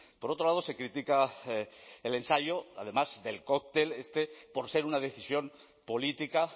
por otro lado se critica el ensayo además del cóctel este por ser una decisión política